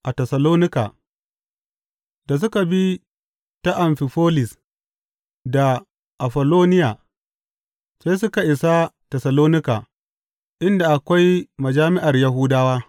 A Tessalonika Da suka bi ta Amfifolis da Afolloniya, sai suka isa Tessalonika, inda akwai majami’ar Yahudawa.